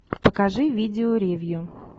покажи видео ревью